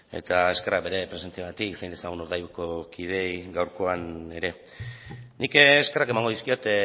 eta eskerrak bere presentziagatik zain dezagun urdaibaiko kideei gaurkoan ere nik eskerrak emango dizkiot